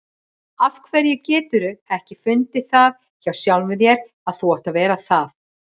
Af hverju geturðu ekki fundið það hjá sjálfum þér að þú átt að vera það?